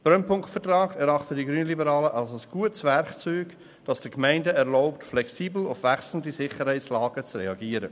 Den Brennpunktvertrag erachten die Grünliberalen als ein gutes Werkzeug, das es den Gemeinden erlaubt, flexibel auf wechselnde Sicherheitslagen zu reagieren.